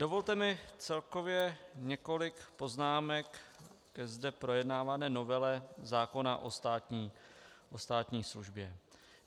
Dovolte mi celkově několik poznámek ke zde projednávané novele zákona o státní službě.